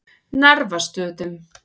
Narfastöðum